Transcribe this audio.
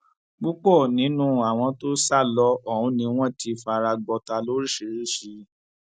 púpọ nínú àwọn tó sá lọ ọhún ni wọn ti fara gbọtà lóríṣìíríṣìí